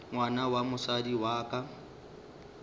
ngwana wa mosadi wa ka